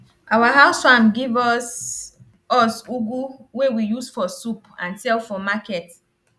our house farm give us us ugu wey we use for soup and sell for market